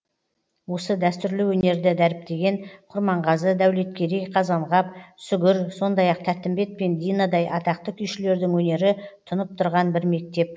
осы дәстүрлі өнерді дәріптеген құрманғазы дәулеткерей қазанғап сүгір сондай ақ тәттімбет пен динадай атақты күйшілердің өнері тұнып тұрған бір мектеп